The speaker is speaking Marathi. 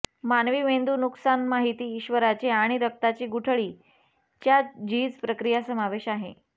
मानवी मेंदू नुकसान माहिती ईश्वराचे आणि रक्ताची गुठळी च्या झीज प्रक्रिया समावेश आहे